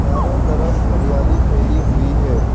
चारों तरफ हरियाली फैली हुई है।